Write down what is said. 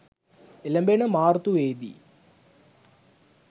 එළැඹෙන මාර්තුවේ දී